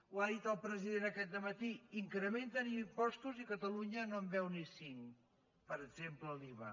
ho ha dit el president aquest dematí incrementen impostos i catalunya no en veu ni cinc per exemple l’iva